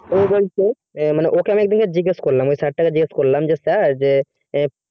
তো ও বলতো মানে আমি ওকে একদিনকে জিজ্ঞেসকরলাম ওই sir টাকে জিজ্ঞেস করলাম যে sir যে এ